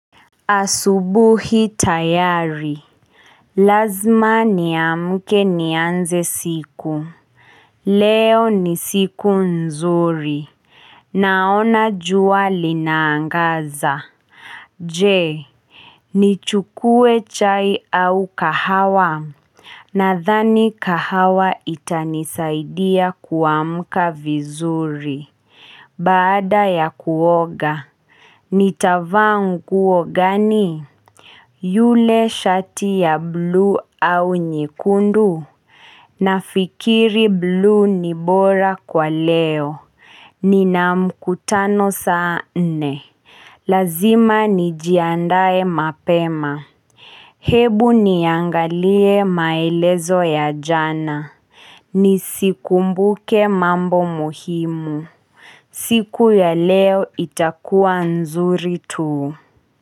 Asubuhi tayari, lazima niamke nianze siku Leo ni siku nzuri Naona jua linaangaza. Je, nichukue chai au kahawa? Nadhani kahawa itanisaidia kuamka vizuri Baada ya kuoga, nitavaa nguo gani? Yule shati ya bluu au nyekundu? Nafikiri bluu ni bora kwa leo. Nina mkutano saa nne, lazima nijiandae mapema. Hebu niangalie maelezo ya jana. Nisikumbuke mambo muhimu. Siku ya leo itakuwa nzuri tu.